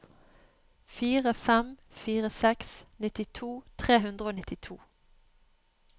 fire fem fire seks nittito tre hundre og nittito